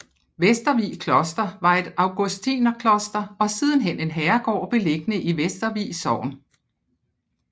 Vestervig Kloster var et augustinerkloster og sidenhen en herregård beliggende i Vestervig Sogn